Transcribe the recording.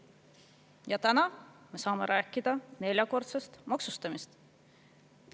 Ja täna saame rääkida neljakordsest maksustamisest.